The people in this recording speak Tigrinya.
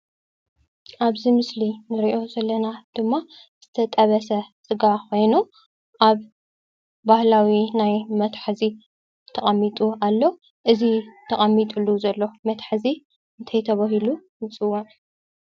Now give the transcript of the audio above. ኣብዚ ምስሊ ንሪኦ ዘለና ድማ ዝተጠብሰ ስጋ ኮይኑ ኣብ ባህላዊ ናይ መትሓዚ ተቀሚጡ ኣሎ። እዚ ተቀሚጥሉ ዘሎ መትሐዚ እንታይ ተባሂሉ ይፅዋዕ ?